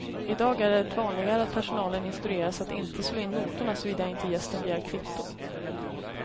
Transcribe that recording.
I dag är det vanligare att personalen instrueras att inte slå in notorna såvida inte gästen begär kvitto.